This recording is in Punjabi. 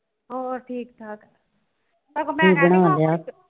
ਹੋਰੁ ਠੀਕ ਠਾਕ